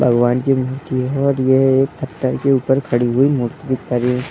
भगवान की ये मूर्ति है और ये एक पथर के ऊपर खड़ी हुई मूर्ति दिख पा रही --